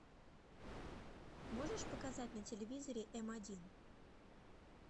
можешь показать на телевизоре м один